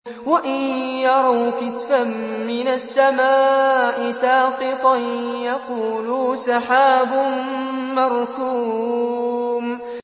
وَإِن يَرَوْا كِسْفًا مِّنَ السَّمَاءِ سَاقِطًا يَقُولُوا سَحَابٌ مَّرْكُومٌ